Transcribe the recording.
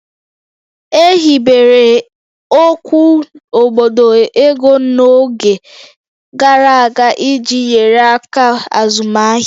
E hibere okwu obodo ego n'oge gara aga iji nyere aka azụmaahịa